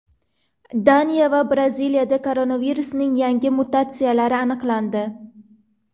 Daniya va Braziliyada koronavirusning yangi mutatsiyalari aniqlandi.